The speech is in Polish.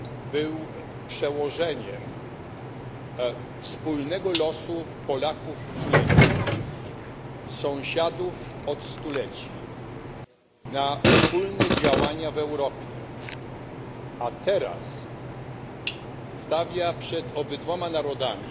był przełożeniem wspólnego losu Polaków i Niemców, sąsiadów od stuleci, na wspólne działania w Europie, a teraz stawia przed obydwoma narodami